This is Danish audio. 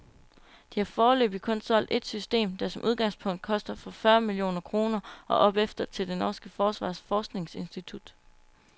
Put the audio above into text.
De har foreløbigt kun solgt et system, der som udgangspunkt koster fra fyrre millioner kroner og opefter, til det norske forsvars forskningsinstitut.